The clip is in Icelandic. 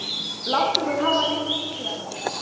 Láttu mig hafa lyklana.